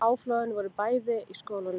Áflogin voru bæði í skólanum